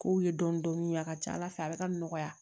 K'u ye dɔɔnin dɔɔnin a ka ca ala fɛ a bɛ ka nɔgɔya